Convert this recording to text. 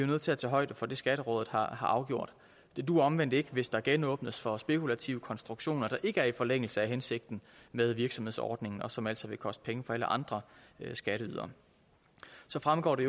nødt til at tage højde for det skatterådet har afgjort det duer omvendt ikke hvis der genåbnes for spekulative konstruktioner der ikke er i forlængelse af hensigten med virksomhedsordningen og som altså vil koste penge for alle andre skatteydere så fremgår det